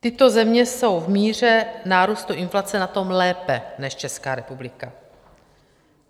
Tyto země jsou v míře nárůstu inflace na tom lépe než Česká republika.